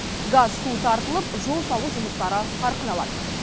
газ су тартылып жол салу жұмыстары қарқын алады